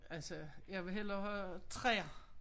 Altså jeg vil hellere have træer